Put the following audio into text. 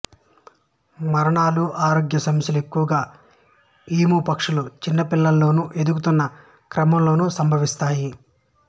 మరణాలు ఆరోగ్య సమస్యలు ఎక్కువగా ఈము పక్షుల చిన్న పిల్లలలోనూ ఎదుగుతున్న క్రమంలోనూ సంభవిస్తాయి